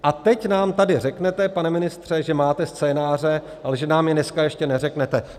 A teď nám tady řeknete, pane ministře, že máte scénáře, ale že nám je dneska ještě neřeknete.